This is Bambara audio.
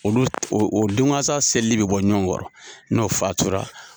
Olu o don gansa selili bɛ bɔ ɲɔgɔn kɔrɔ n'o fatura.